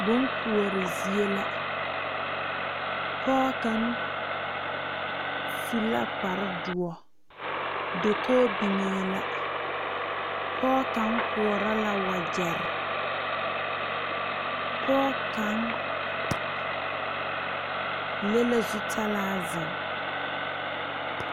Boŋ koɔre zie la pɔge kaŋa su la kpare doɔ dakogi biŋe la pɔge ka koɔrɔ la wagyere pɔge kaŋa le la zutalaa zeŋ.